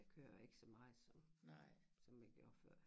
Jeg kører ikke så meget som som jeg gjorde før